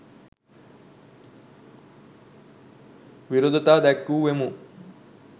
විරෝධතා දැක්වූවෙමු.